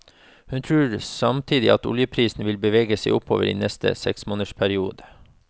Hun tror samtidig at oljeprisen vil bevege seg oppover i neste seksmånedersperiode.